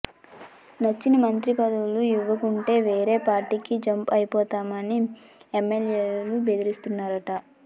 నచ్చిన మంత్రి పదవులు ఇవ్వకుంటే వేరే పార్టీలోకి జంప్ అయిపోతామని ఎమ్మెల్యేలు బెదిరిస్తున్నారట